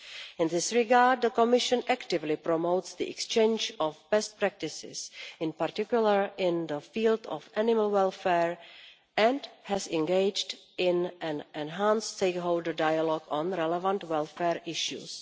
In this regard, the Commission actively promotes the exchange of best practices, in particular in the field of animal welfare, and has engaged in an enhanced stakeholder dialogue on relevant welfare issues.